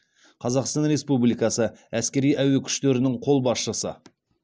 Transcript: қазақстан республикасы әскери әуе күштерінің қолбасшысы